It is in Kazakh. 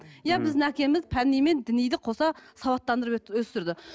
иә біздің әкеміз пәни мен діниді қоса сауаттандырып өсірді